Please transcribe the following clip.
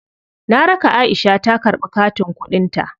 Na raka Aisha ta karɓi katin kuɗin ta.